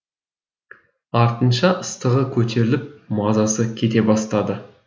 артынша ыстығы көтеріліп мазасы кете бастады